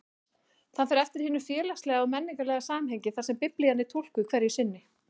Það fer eftir hinu félagslega og menningarlega samhengi þar sem Biblían er túlkuð hverju sinni.